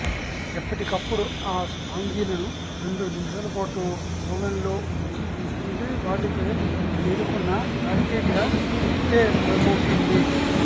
ఎప్పటికప్పుడు ఆ స్పాంజిలను రెండు నిమిషాలపాటు ఓవెన్లో ఉంచి తీస్తుంటే వాటిపై చేరుకున్న బ్యాక్టీరియా ఇట్టే దూరమవుతుంది